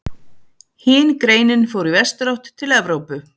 Hin greinin fór í vesturátt, til Evrópu.